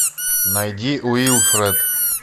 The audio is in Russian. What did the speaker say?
найди уилфред